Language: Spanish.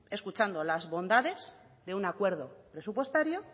escuchando las bondades de un acuerdo presupuestario